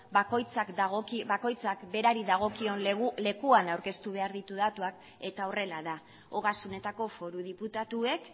bakoitzak berari dagokion lekuan aurkeztu behar ditu datuak eta horrela da ogasunetako foru diputatuek